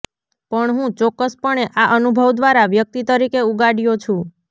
પણ હું ચોક્કસપણે આ અનુભવ દ્વારા વ્યક્તિ તરીકે ઉગાડ્યો છું